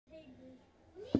Þeir gætu ekki neitað þessu.